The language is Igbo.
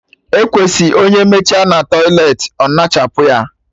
Ekwesị onye mechaa na tọiletị ọ ñachapụ ya